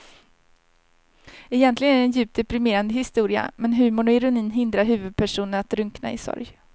Egentligen är det en djupt deprimerande historia men humorn och ironin hindrar huvudpersonen att drunkna i sorg.